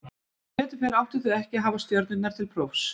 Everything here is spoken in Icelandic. Sem betur fer áttu þau ekki að hafa stjörnurnar til prófs.